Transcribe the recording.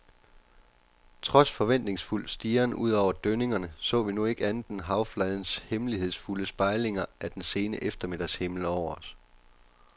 Trods forventningsfuld stirren ud over dønningerne så vi nu ikke andet end havfladens hemmelighedsfulde spejlinger af den sene eftermiddagshimmel over os.